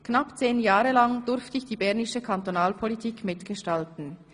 Knapp 10 Jahre lang durfte ich die bernische Kantonalpolitik mitgestalten.